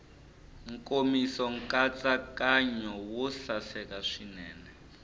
nkomiso nkatsakanyo wo saseka swinene